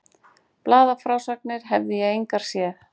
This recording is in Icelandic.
Blaðafrásagnir hefði ég engar séð.